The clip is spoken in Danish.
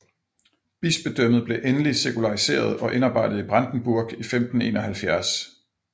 Bispedømmet blev endelig sekulariseret og indarbejdet i Brandenburg i 1571